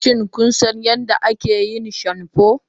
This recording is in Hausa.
Shin kun san yadda ake yin shamfu?